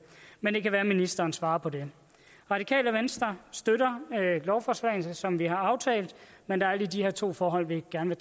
men det kan være at ministeren svarer på det radikale venstre støtter lovforslaget som vi har aftalt men der er lige de her to forhold vi gerne